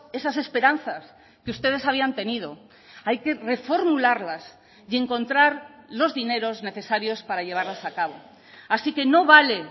esas esperanzas que ustedes habían tenido hay que reformularlas y encontrar los dineros necesarios para llevarlas a cabo así que no vale